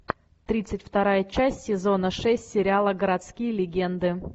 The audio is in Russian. тридцать вторая часть сезона шесть сериала городские легенды